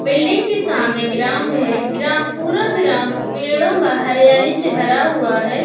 Building के सामने ground है। ग्रां-पूरा ग्राउंड पेड़ो बा हरियाली से भरा हुआ है।